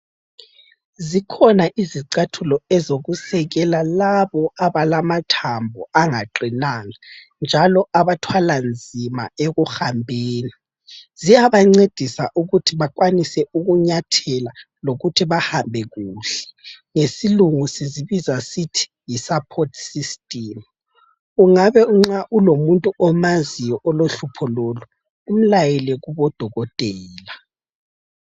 Zikhona izicathulo ezokusekela labo abalamathambo angaqinanga njalo abathwala nzima ekuhambeni. Ziyabancedisa ukuthi bakwanise ukunyathela lokuthi bahambe kuhle. Ngesilungu sizibiza sithi yiSupport system. Ungabe nxa ulomuntu omaziyo olohlupho lolu umlayele kubodokotela